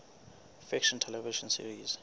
fiction television series